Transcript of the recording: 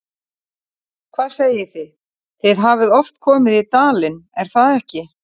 Lillý: Hvað segið þið, þið hafið oft komið í dalinn, er það ekki?